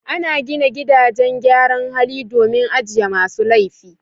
Ana gina gidajen gyaran hali domin ajiye masu laifi.